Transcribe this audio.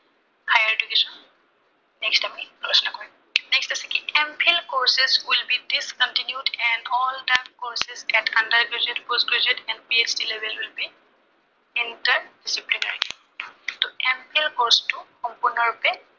সেইটো আমি আলোচনা কৰিম। next হৈছে কি MPhil courses will be discontinued and all the under graduate, post graduate and PHd lave entered ত MPHil course টো সম্পূৰ্ণৰূপে